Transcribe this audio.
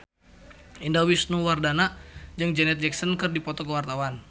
Indah Wisnuwardana jeung Janet Jackson keur dipoto ku wartawan